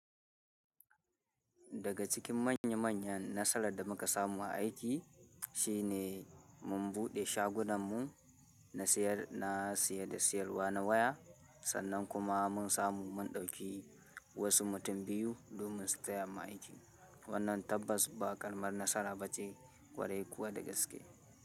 Daga cikin manya manyan nasara da muka samu a aiki, shi ne mun buɗe shagunammu na siyar da siyarwa na waya, sannan kuma mun samu mun ɗauki wasu mutum biyu domin su taya mu aiki. Wannan tabbas ba ƙaramar nasara ba ce, kwarai kuwa da gaske.